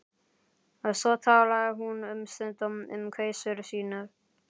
Svo talaði hún um stund um kveisur sínar.